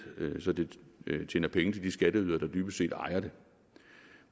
så det tjener penge til de skatteydere der dybest set ejer det